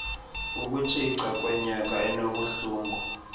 ukutshica kwenyoka enobuhlungu